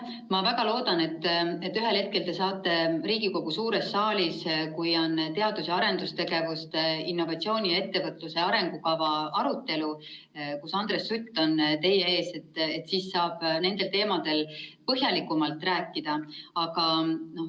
Ma väga loodan, et ühel hetkel te saate Riigikogu suures saalis, kui on teadus‑ ja arendustegevuse, innovatsiooni ning ettevõtluse arengukava arutelu ja Andres Sutt on teie ees, nendel teemadel põhjalikumalt rääkida.